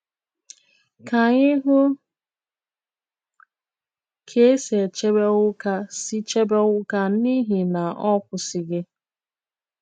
Kà ànyị hụ kà è sì chèbè Onwuka sì chèbè Onwuka n'ìhì nà ọ kwụsịghi